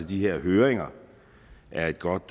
de her høringer er et godt